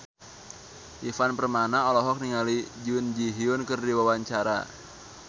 Ivan Permana olohok ningali Jun Ji Hyun keur diwawancara